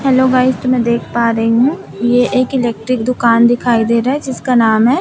Hello guys तो मैं देख पा रही हूं ये एक इलेक्ट्रिक दुकान दिखाई दे रहा है जिसका नाम है।